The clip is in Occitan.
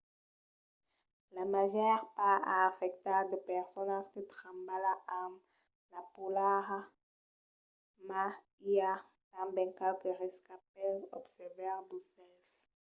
la màger part a afectat de personas que trabalha amb la polalha mas i a tanben qualques riscas pels observaires d'aucèls